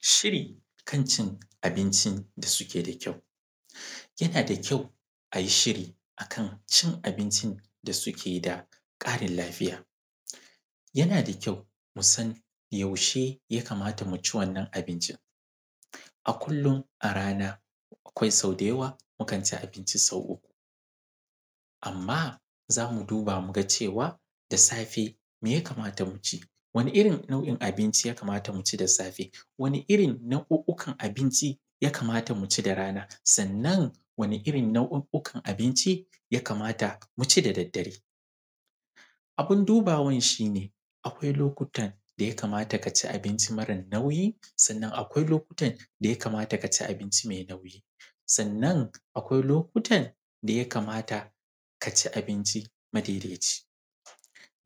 Shiri kan cin abinci da suke da kyau. Yana da kyau a yi shiri a kan cin abinci da suke da ƙarin lafiya. Yana da kyau mu san yaushe ya kamata mu ci wannan abincin. A kullum, a rana akwai sau da yawa mukan ci abinci sau uku, amma za mu duba mu ga cewa, da safe me ya kamata mu ci? Wane irin nau’in abinci ya kamata mu ci da safe? Wane irin nau’u’ukan abinci ya kamata mu ci da rana? Sannan, wane irin nau’u’ukan abinci ya kamata mu ci da daddare? Abin dubawan shi ne, akwai lokutan da ya kamata ka ci abinci mara nauyi; sannan akwai lokutan da ya kamata ka ci abinci mai nauyi; sannan akwai lokutan da ya kamata ka ci abinci madaidaici.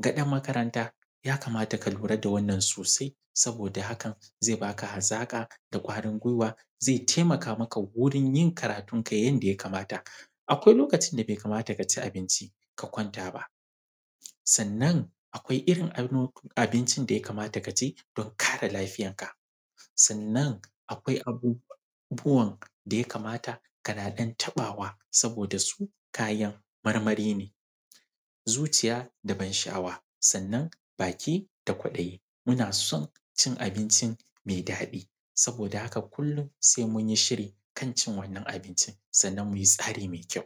Ga ɗan makaranta, ya kamata ka lura da wannan sosai saboda haka zai ba ka hazaƙa da ƙwarin guiwa. Zai taimaka maka wurin yin karatunka yanda ya kamata. Akwai lokacin da bai kamata ka ci abinci ka kwanta ba. Sannan akwai irin abincin da ya kamata ka ci don kare lafiyanka. Sannan, akwai abubuwan da ya kamata kana ɗan taɓawa saboda su kayan marmari ne. Zuciya da ban sha’awa, sannan baki da kwaɗayi muna son cin abinci mai daɗi. Saboda haka, kullun sai mun yi shiri kan cin wannan abincin sannan mu yi tsari mai kyau.